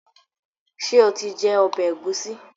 ṣe o tí jé ọbẹ Egusi?